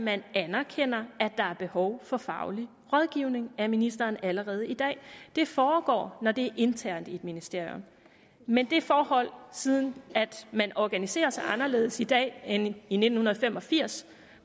man anerkender at der er behov for faglig rådgivning af ministeren allerede i dag det foregår internt i et ministerium men det forhold at man organiserer sig anderledes i dag end i nitten fem og firs